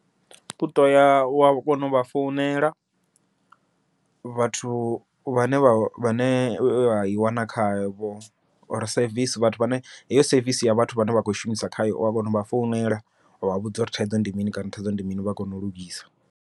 Uto ya wa kona u vha founela, vhathu vhane vha vhane vha i wana khavho or sevisi vhathu vhane heyo sevisi ya vhathu vhane vha khou shumisa khayo wa kona uvha founela wavha vhudza uri thaidzo ndi mini kana thaidzo ndi mini vha kone u lugisa.